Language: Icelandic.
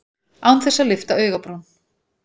Án þess að lyfta augabrún.